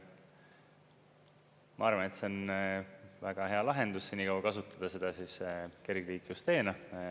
Ma arvan, et see on väga hea lahendus senikaua kasutada seda siis kergliiklusteena.